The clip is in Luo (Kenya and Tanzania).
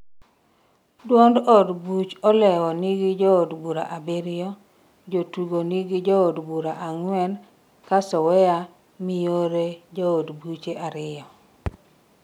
duond od buch olewo nigi jood bura abiriyo, Jotugo nigi jood bura ang'wen ,ka sowea miyore jood buche ariyo